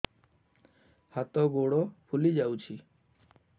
ହାତ ଗୋଡ଼ ଫୁଲି ଯାଉଛି